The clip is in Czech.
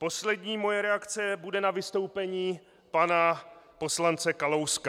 Poslední moje reakce bude na vystoupení pana poslance Kalouska.